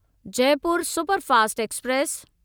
Jaipur superfast express